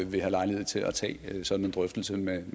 vil have lejlighed til at tage sådan en drøftelse med